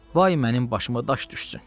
Vay mənim başıma daş düşsün.